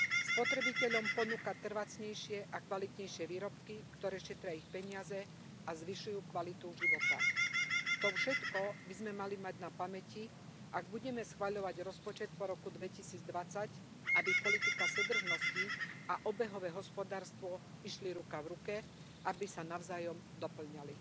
Spotrebiteľom ponúka trvácnejšie a kvalitnejšie výrobky, ktoré šetria ich peniaze a zvyšujú kvalitu života. To všetko by sme mali mať na pamäti, ak budeme schvaľovať rozpočet po roku 2020, aby politika súdržnosti a obehové hospodárstvo išli ruka v ruke, aby sa navzájom dopĺňali.